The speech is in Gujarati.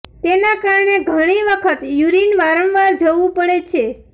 તેના કારણે ઘણી વખત યુરિન વારંવાર જવું પડે છે